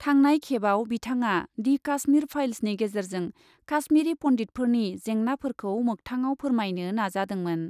थांनाय खेबआव बिथाङा दि काश्मीर फाइल्सनि गेजेरजों काश्मीरी पन्डितफोरनि जेंनाफोरखौ मोखथाङाव फोरमायनो नाजादोंमोन।